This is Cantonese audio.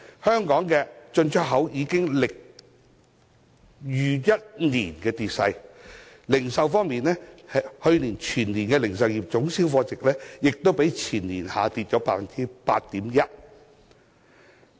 香港進出口業已經歷逾1年的跌勢，而去年全年的零售業總銷貨值，亦較前年下跌 8.1%。